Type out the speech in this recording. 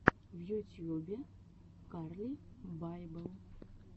в ютьюбе карли байбел